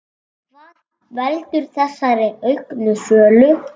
Hvað veldur þessari auknu sölu?